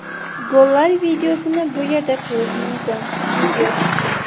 Gollar videosini bu yerda ko‘rish mumkin video .